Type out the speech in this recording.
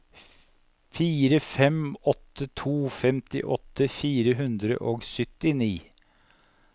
fire fem åtte to femtiåtte fire hundre og syttini